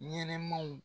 Ɲɛnɛmaw